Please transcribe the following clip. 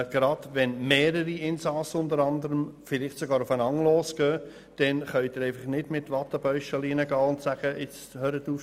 Gerade gegenüber mehreren Insassen kann man nicht mit Wattebäuschchen auftreten.